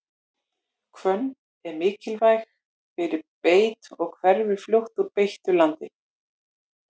hvönn er viðkvæm fyrir beit og hverfur fljótt úr beittu landi